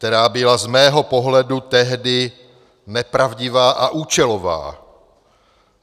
Která byla z mého pohledu tehdy nepravdivá a účelová.